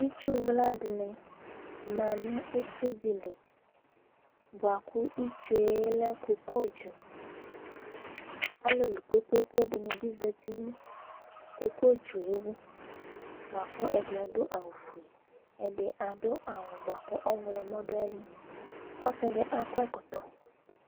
Itsu wla dìní ma nʋ ʋsi di li bʋakʋ itsu ye lɛ kokotsu Alulu kpe kpe kpe dìní za nʋ kokotsu wʋ bʋakʋ ɛdí adu awu fʋe ɛdí adu awu bʋakʋ ɔwlɔmɔ du ayìlí Ɔsi di akɔ ɛkɔtɔ